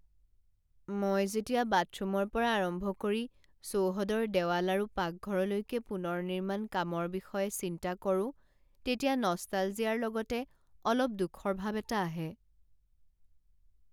মই যেতিয়া বাথৰুমৰ পৰা আৰম্ভ কৰি চৌহদৰ দেৱাল আৰু পাকঘৰলৈকে পুনৰ নিৰ্মাণ কামৰ বিষয়ে চিন্তা কৰোঁ তেতিয়া নষ্টালজিয়াৰ লগতে অলপ দুখৰ ভাব এটা আহে।